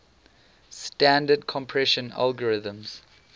standard compression algorithms